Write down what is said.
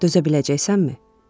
Dözə biləcəksənmi?